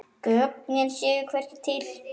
Gögnin séu hvergi til.